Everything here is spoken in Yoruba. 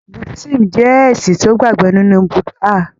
Buddhism jẹ́ ẹ̀sìn tó gbàgbó nínú Buddha